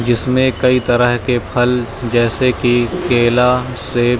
जिसमे कई तरह के फल जैसे की केला सेब--